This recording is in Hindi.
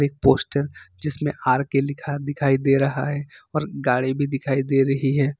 एक पोस्टर जिसमें आर के लिखा दिखाई दे रहा है और गाड़ी भी दिखाई दे रही है।